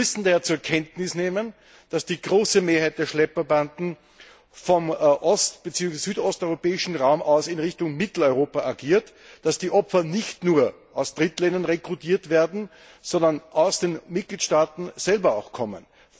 Wir müssen daher zur Kenntnis nehmen, dass die große Mehrheit der Schlepperbanden vom ost bzw. südosteuropäischen Raum aus in Richtung Mitteleuropa agiert, dass die Opfer nicht nur in Drittländern rekrutiert werden, sondern auch aus den Mitgliedstaaten selbst kommen.